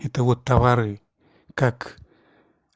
это вот товары как